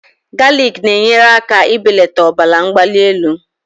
Galiki na-enyere aka belata ọbara mgbali elu